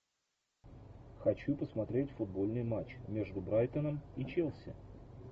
хочу посмотреть футбольный матч между брайтоном и челси